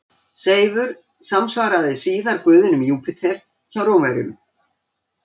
Seifur samsvaraði síðar guðinum Júpíter hjá Rómverjum.